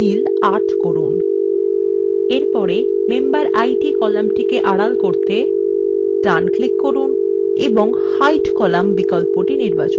এরপরে memberid columnটিকে আড়াল করতে ডান ক্লিক করুন এবং hide column বিকল্পটি নির্বাচন করুন